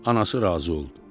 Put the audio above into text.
Anası razı oldu.